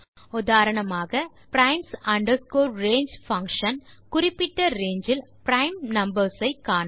உதாரணமாக160 primes range குறிப்பிட்ட range இல் prime numbers ஐ காண